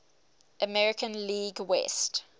american league west